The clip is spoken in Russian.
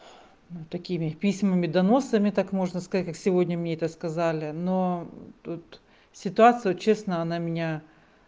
ну такими письмами доносами так можно сказать как сегодня мне это сказали но тут ситуацию честно она меня